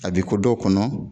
A bɛ ko dɔw kɔnɔ